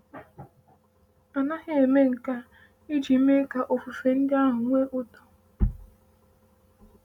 A naghị eme nke a iji mee ka ofufe ndị ahụ nwee ụtọ.